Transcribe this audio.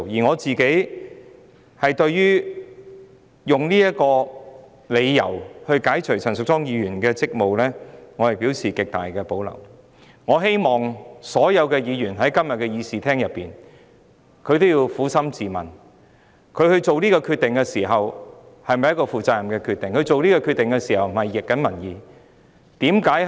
我本人對於以這個理由解除陳淑莊議員的議員職務，表示極大保留。我希望今天身處議事廳的所有議員均能撫心自問：這決定是否一個負責任的決定，有否拂逆民意？